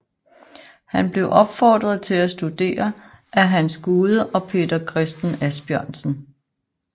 Han blev opfordret til at studere af Hans Gude og Peter Christen Asbjørnsen